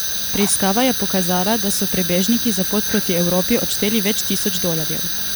Preiskava je pokazala, da so prebežniki za pot proti Evropi odšteli več tisoč dolarjev.